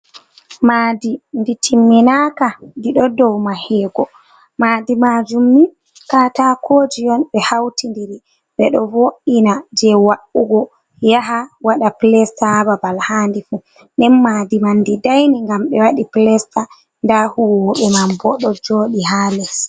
Madi ndi timminaka ɗiɗo dou mahego, madi majum ni ka katakoji on ɓe hauti ndiri ɓe ɗo vo’ina je wa’ugo yaha waɗa plesta ha babal handi fu, nden madi man di daini ngam ɓe waɗi plesta, nda huolwobe man bo ɗo joɗi ha les.